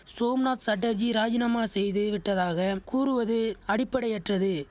சோம்நாத் சட்டர்ஜி ராஜினாமா செய்து விட்டதாக கூறுவது அடிப்படையற்றது